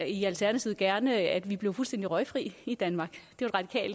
i alternativet gerne at vi blev fuldstændig røgfri i danmark det